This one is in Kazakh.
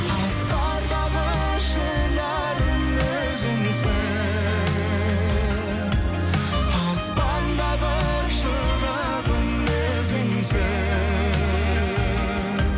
асқардағы шынарым өзіңсің аспандағы шырағым өзіңсің